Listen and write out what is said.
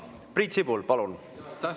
Priit Sibul, palun!